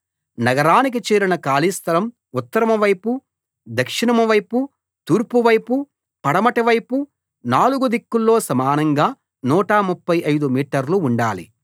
నగరానికి చేరిన ఖాళీ స్థలం ఉత్తరం వైపు దక్షిణం వైపు తూర్పు వైపు పడమటి వైపు నాలుగు దిక్కుల్లో సమానంగా 135 మీటర్లు ఉండాలి